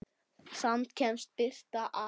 Samt kemst birtan að.